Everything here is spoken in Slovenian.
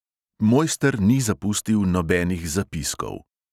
Mojster ni zapustil nobenih zapiskov.